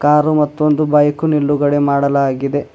Car ಮತ್ತೊಂದು bike ನಿಲುಗಡೆ ಮಾಡಲಾಗಿದೆ.